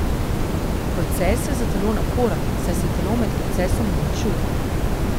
Proces je za telo naporen, saj se telo med procesom uničuje.